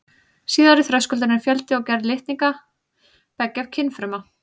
Síðari þröskuldurinn er fjöldi og gerð litninga beggja kynfruma.